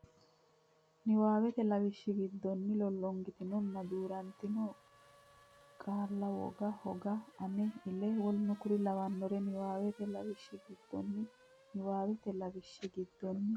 niwaawete Lawishsha giddonni lollongitinonna duu rantino gala woga hoga ama ela w k l niwaawete Lawishsha giddonni niwaawete Lawishsha giddonni.